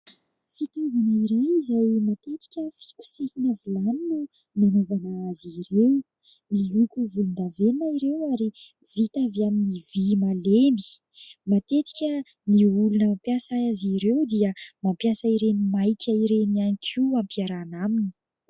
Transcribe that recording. Fitaovana iray izay matetika fikosehina vilany no nanaovana azy ireo ; miloko volondavenona ireo ary vita avy amin'ny vy malemy ; matetika ny olona mampiasa azy ireo dia mampiasa ireny maika ireny ihany koa ampiarana aminy.